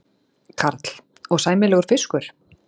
Karl: Og sæmilegur fiskur?